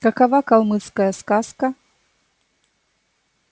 какова калмыцкая сказка